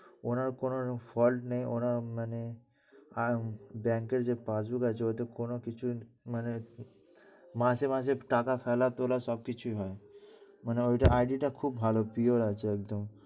ওনার কোনো fault নেই, ওনার মানে আয়ন bank এর যে পাশ গুলো আছে ওটাই কোনো কিছু উম মানে মাসে মাসে টাকা ফেলা তোলা সবকিছুই হয়। মানে ওর ID টা খুব ভালো, pure আছে একদম।